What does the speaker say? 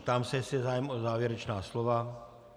Ptám se, jestli je zájem o závěrečná slova.